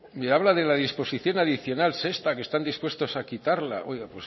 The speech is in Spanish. me habla de la disposición adicional sexta que están dispuestos a quitarla oiga